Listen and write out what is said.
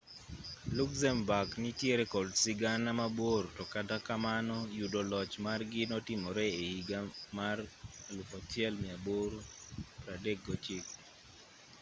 luxembourg nitiere kod sigana mabor to kata kamano yudo loch margi notimore e higa mar 1839